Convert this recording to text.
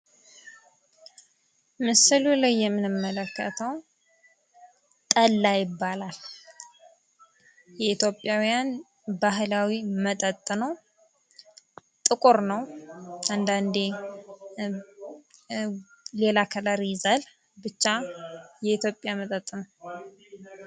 ምስሉ ላይ የምንመለከተዉ ጠላ ይባላል። የኢትዮጵያዉያን ባህላዊ መጠጥ ነዉ። ጥቁር ነዉ አንዳንዴ ሌላ ከለር ይይዛል። ብቻ የኢትዮጵያ መጠጥ ነዉ።